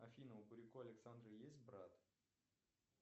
афина у буряко александра есть брат